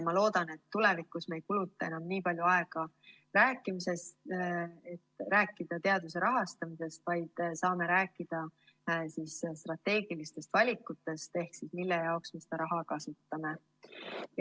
Ma loodan, et me tulevikus ei kuluta enam nii palju aega rääkimisele, et rääkida teaduse rahastamisest, vaid saame rääkida strateegilistest valikutest ehk sellest, mille jaoks me seda raha kasutame.